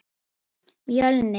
Mjölnir